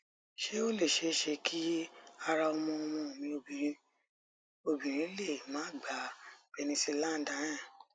se o le sese ki ara omo omo mi obinrin mi obinrin le ma gba penicillan diane